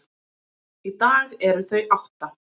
Í dag eru þau átta.